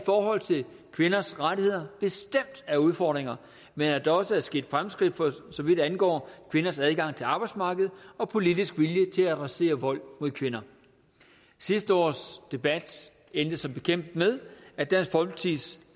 forhold til kvinders rettigheder bestemt er udfordringer men at der også er sket fremskridt for så vidt angår kvinders adgang til arbejdsmarkedet og politisk vilje til at adressere vold mod kvinder sidste års debat endte som bekendt med at dansk folkepartis